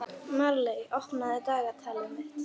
Marley, opnaðu dagatalið mitt.